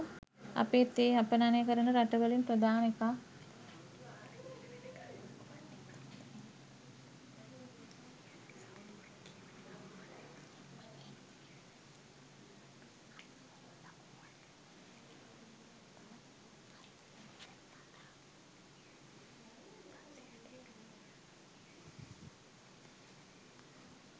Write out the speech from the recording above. අපේ තේ අපනයන කරන රට වලින් ප්‍රධාන එකක්.